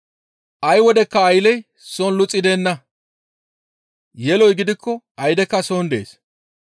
Ay wodekka aylley soon luxi de7enna. Yeloy gidikko aydekka soon dees.